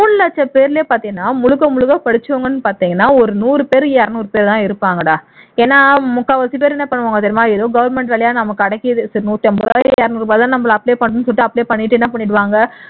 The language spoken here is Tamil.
மூணு லட்சம் பேர்ல பார்த்தீன்னா முழுக்க முழுக்க படிச்சவங்கன்னு பார்த்தீங்கன்னா ஒரு நூறுபேர் இருநூறுபேர் தான் இருப்பாங்கடா ஏன்னா முக்கால்வாசிப்பேர் என்ன பண்ணுவாங்க தெரியுமா ஏதோ government வேலையா நமக்கு கிடைக்குது சரி நூற்றி ஐம்பது ரூபாய் இருநூறு ரூபாய்தான நம்ம apply பண்ணனும்னு சொல்லிட்டு apply பண்ணிட்டு என்ன பண்ணிருவாங்க